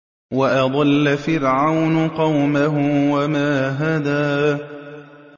وَأَضَلَّ فِرْعَوْنُ قَوْمَهُ وَمَا هَدَىٰ